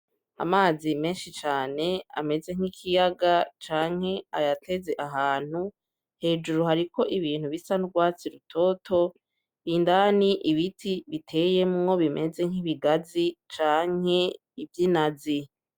Amazi menshi cane ameze nk'ikiyaga canke ayateze ahantu, hejuru hariko ibintu bisa nurwazi rutoto. Indani ibiti biteyemwo bimeze nk'ibigazi canke nk'inazi.